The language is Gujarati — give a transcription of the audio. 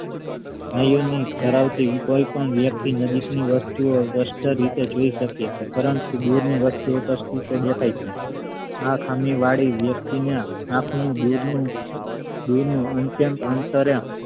આ ધરાવતી કોઈ પણ વ્યક્તિ નજીક ની વસ્તુ ઓ સ્પષ્ટ રીતે જોઈ શકે છે પરંતુ દૂરની વસ્તુ ઓ સ્પષ્ટ રીતે દેખાઈ છે આ ખામી વળી વ્યક્તિ ને આંખ નું દૂર નું દૂર નું અત્યંત અંતરે